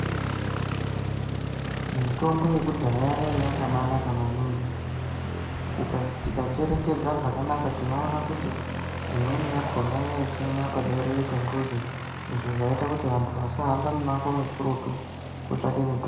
Mitombo yekudhaya yaiya yakabaanaka maningi. Tikacherechedza zvakanaka tinoona kuti imweni yakhona yaisimwa paberere pemuzi izvo zvaiite kuti vantu vasahambe mimango mikurutu kootsvaka mitombo.